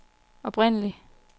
oprindelig